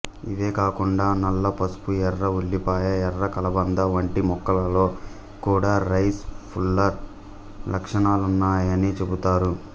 ఇవే కాకుండా నల్ల పసుపు ఎర్ర ఉల్లిపాయ ఎర్ర కలబంద వంటి మొక్కల్లో కూడా రైస్ పుల్లర్ లక్షణాలున్నాయని చెబుతారు